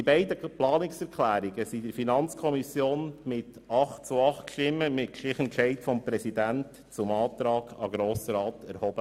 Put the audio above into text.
Die beiden Planungserklärungen wurden in der FiKo mit 8 zu 8 Stimmen mit Stichentscheid des Präsidenten zum Antrag an den Grossen Rat erhoben.